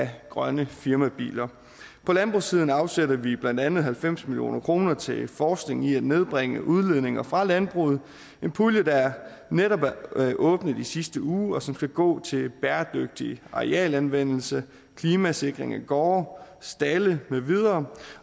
grønne firmabiler på landbrugssiden afsætter vi blandt andet halvfems million kroner til forskning i at nedbringe udledninger fra landbruget en pulje der netop er åbnet i sidste uge og som skal gå til bæredygtig arealanvendelse klimasikring af gårde stalde med videre